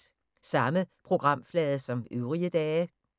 Samme programflade som øvrige dage